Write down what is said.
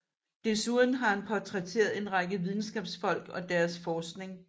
Desuden har han portrætteret en række videnskabsfolk og deres forskning